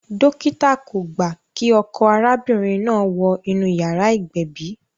Dókítà kò gbà kí ọkọ arábìnrin náà wọ inú yàrá ìgbẹ̀bì